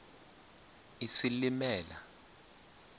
isilimela